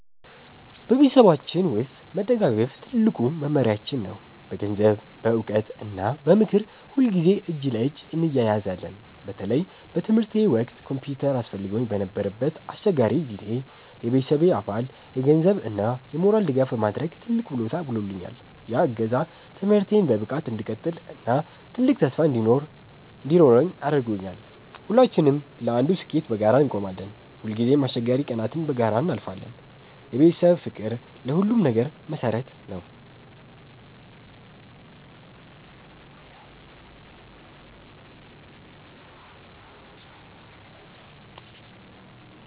በቤተሰባችን ውስጥ መደጋገፍ ትልቁ መመሪያችን ነው። በገንዘብ፣ በዕውቀት እና በምክር ሁልጊዜ እጅ ለእጅ እንያያዛለን። በተለይ በትምህርቴ ወቅት ኮምፒውተር አስፈልጎኝ በነበረበት አስቸጋሪ ጊዜ፣ የቤተሰቤ አባል የገንዘብ እና የሞራል ድጋፍ በማድረግ ትልቅ ውለታ ውሎልኛል። ያ እገዛ ትምህርቴን በብቃት እንድቀጥል እና ትልቅ ተስፋ እንዲኖረኝ አድርጓል። ሁላችንም ለአንዱ ስኬት በጋራ እንቆማለን። ሁልጊዜም አስቸጋሪ ቀናትን በጋራ እናልፋለን። የቤተሰብ ፍቅር ለሁሉም ነገር መሰረት ነው።